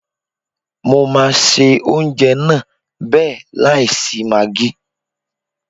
Mo máa se oúnjẹ náà bẹ́ẹ̀ láì sí magí.